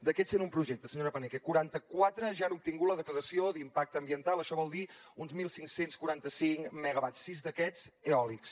d’aquests cent un projectes senyora paneque quaranta quatre ja han obtingut la declaració d’impacte ambiental això vol dir uns quinze quaranta cinc megawatts sis d’aquests eòlics